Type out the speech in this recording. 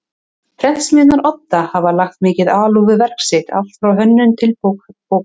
Prentsmiðjunnar Odda hafa lagt mikla alúð við verk sitt allt frá hönnun til bókbands.